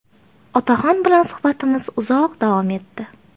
Otaxon bilan suhbatimiz uzoq davom etdi.